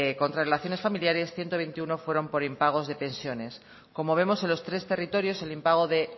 contra relaciones familiares ciento veintiuno fueron por impagos de pensiones como vemos en los tres territorios el impago de